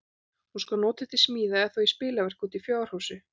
Hún skal notuð til smíða, eða þá í spilverk úti í fjárhúsi.